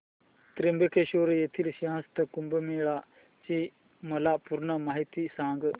त्र्यंबकेश्वर येथील सिंहस्थ कुंभमेळा ची मला पूर्ण माहिती सांग